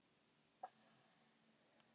gunnar karlsson